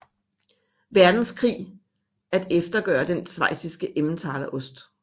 Verdenskrig at eftergøre den schweiziske Emmentaler ost